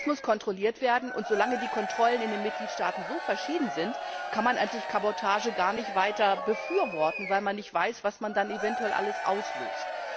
Das muss kontrolliert werden, und solange die Kontrollen in den Mitgliedstaaten so verschieden sind, kann man eigentlich Kabotage gar nicht weiter befürworten, weil man nicht weiß, was man dann eventuell alles auslöst.